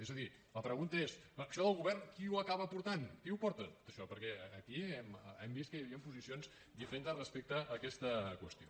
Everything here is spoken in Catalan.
és a dir la pregunta és això del govern qui ho acaba portant qui ho porta tot això perquè aquí hem vist que hi havien posicions diferentes respecte a aquesta qüestió